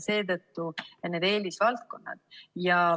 Seetõttu on need eelisvaldkonnad.